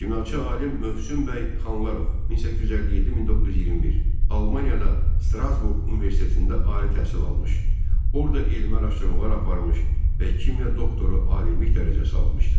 Kimyaçı alim Mövsüm bəy Xanlarov (1857-1921) Almaniyada Strasburq Universitetində ali təhsil almış, orada elmi araşdırmalar aparmış və kimya doktoru alimlik dərəcəsi almışdı.